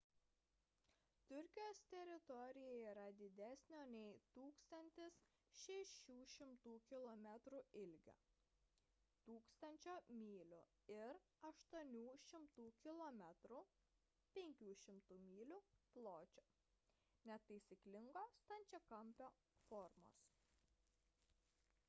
turkijos teritorija yra didesnio nei 1 600 kilometrų ilgio 1 000 mylių ir 800 km 500 mylių pločio netaisyklingo stačiakampio formos